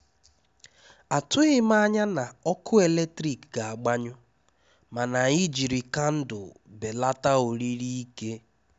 Àtụghí m ányá ná ọ́kụ́ élétrík gà-àgbányụ́, máná ànyị́ jírí kándụ́l bélátá órírí íké.